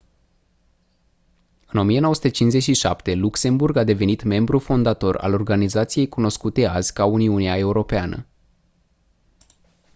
în 1957 luxemburg a devenit membru fondator al organizației cunoscute azi ca uniunea europeană